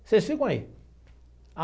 Vocês ficam aí.